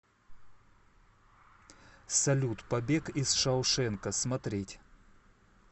салют побег из шаушенка смотреть